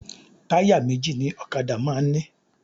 Táyà méjì ni ọ̀kadà máa ń ní